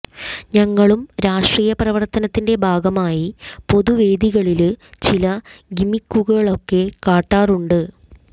ഞങ്ങളും രാഷ്ട്രീയ പ്രവര്ത്തനത്തിന്റെ ഭാഗമായി പൊതുവേദികളില് ചില ഗിമ്മിക്കുകളൊക്കെ കാട്ടാറുണ്ട്